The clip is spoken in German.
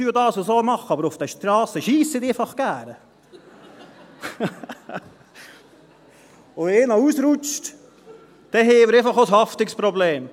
Wenn die Velofahrer dann auf den Strassen sind, wo diese Kühe laufen, und wenn einer ausrutscht, haben wir einfach auch ein Haftungsproblem.